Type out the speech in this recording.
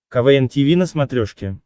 квн тиви на смотрешке